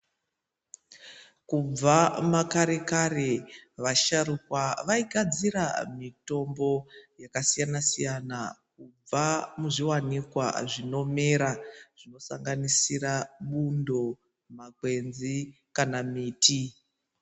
Kubva makare kare vasharuka vaigadzira mitombo yakasiyana siyana kubba muzviwanikwa zvinomera zvinosanganisira bundo, makwenzi kana miti.